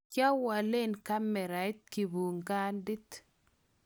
kiawalen kamerait kibukandit